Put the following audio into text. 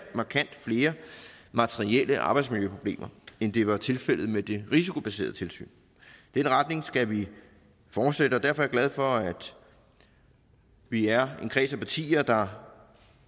markant flere materielle arbejdsmiljøproblemer end det var tilfældet med det risikobaserede tilsyn den retning skal vi fortsætte og derfor er jeg glad for at vi er en kreds af partier der